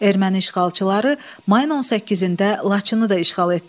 Erməni işğalçıları mayın 18-də Laçını da işğal etdilər.